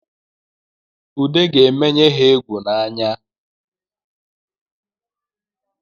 Ude ga-emenye egwu n’anya